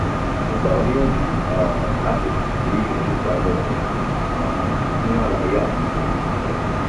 mo gbà ọ́ níyànjú um láti kàn sí oníṣẹ́ abẹ rẹ um fún àlàyé àti ìtọ́jú àìlera